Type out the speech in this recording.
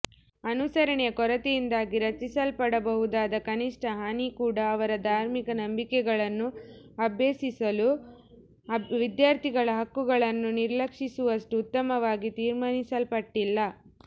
ಅನುಸರಣೆಯ ಕೊರತೆಯಿಂದಾಗಿ ರಚಿಸಲ್ಪಡಬಹುದಾದ ಕನಿಷ್ಟ ಹಾನಿ ಕೂಡಾ ಅವರ ಧಾರ್ಮಿಕ ನಂಬಿಕೆಗಳನ್ನು ಅಭ್ಯಸಿಸಲು ವಿದ್ಯಾರ್ಥಿಗಳ ಹಕ್ಕುಗಳನ್ನು ನಿರ್ಲಕ್ಷಿಸುವಷ್ಟು ಉತ್ತಮವಾಗಿ ತೀರ್ಮಾನಿಸಲ್ಪಟ್ಟಿಲ್ಲ